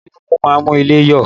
Ilé kìkún máa ń mú ilé yọ